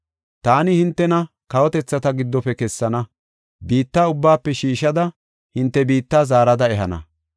“Taani hintena kawotethata giddofe kessana; biitta ubbaafe shiishada hinte biitta zaarada ehana.